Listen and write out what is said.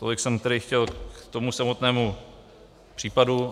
Tolik jsem tedy chtěl k tomu samotnému případu.